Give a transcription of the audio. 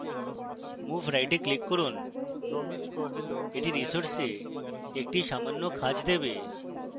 move right এ click করুন